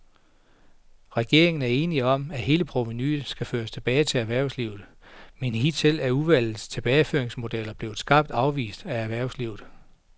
Regeringen er enig om, at hele provenuet skal føres tilbage til erhvervslivet, men hidtil er udvalgets tilbageføringsmodeller blevet skarpt afvist af erhvervslivet.